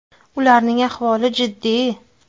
Ularning ahvoli jiddiy.